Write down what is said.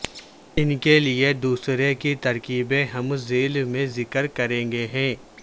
ان کے لئے دوسرے کی ترکیبیں ہم ذیل میں ذکر کریں گے ہیں